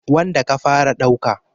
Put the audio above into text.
wanda ka fara ɗauka.